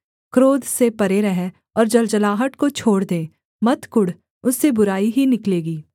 क्रोध से परे रह और जलजलाहट को छोड़ दे मत कुढ़ उससे बुराई ही निकलेगी